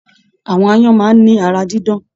Àwọn aáyán máà ni ara dídán.